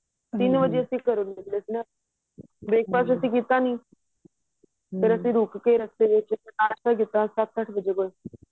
ਤਿੰਨ ਵਜੇ ਅਸੀਂ ਘਰੋ ਨਿੱਕਲੇ ਸੀ breakfast ਅਸੀਂ ਘਰੋ ਕੀਤਾ ਨਹੀਂ ਫ਼ੇਰ ਅਸੀਂ ਰੁੱਕ ਕੇ ਰਸਤੇ ਵਿੱਚ ਨਾਸਤਾਂ ਕੀਤਾ ਸੱਤ ਅੱਠ ਵਜੇ